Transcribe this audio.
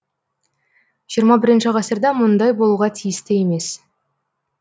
жиырма бірінші ғасырда мұндай болуға тиісті емес